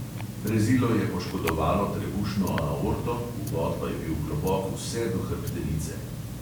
Rezilo je poškodovalo trebušno aorto, vbod pa je bil globok vse do hrbtenice.